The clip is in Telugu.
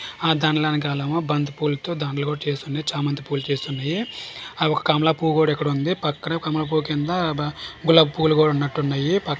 ఆ దండల్ యనకలేమో బంతి పూలతో దండలు కూడ చేసున్నాయి చామంతి పూలు చేసున్నాయి ఆ ఒక కమల పువ్వు కూడ ఇక్కడుంది పక్కనే కమల పువ్వు కింద బా--గులాబీ పూలు కూడ ఉన్నటున్నాయి పాక్--